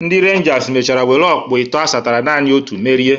Ndị Renjas mechara were ọkpụ itọọ asatara naanị otu merie.